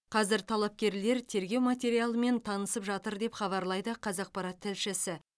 қазір талапкерлер тергеу материалымен танысып жатыр деп хабарлайды қазақпарат тілшісі